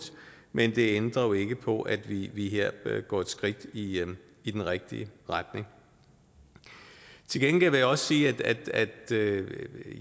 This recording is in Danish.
men det ændrer jo ikke på at vi vi her går et skridt i i den rigtige retning til gengæld vil jeg også sige at